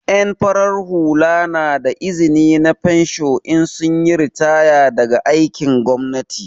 En farar hula na da izni na fensho in sun yi ritaya daga aikin gwamnati.